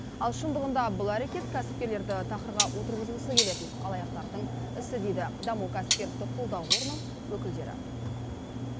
ал шындығында бұл әрекет кәсіпкерлерді тақырға отырғызғысы келетін алаяқтардың ісі дейді даму кәсіпкерлікті қолдау қорының өкілдері